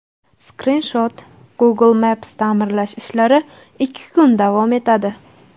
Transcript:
Skrinshot: Google Maps Ta’mirlash ishlari ikki kun davom etadi.